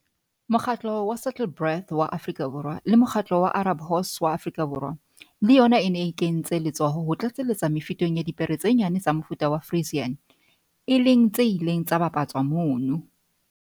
Mokgatlo wa Saddlebred wa Afrika Borwa le Mokgatlo wa Arab Horse wa Afrika Borwa le yona e ne e kentse letsoho ho tlatselletsa mefuteng ya dipere tse nyane tsa mofuta wa Friesian, e leng tse ileng tsa bapatswa mono.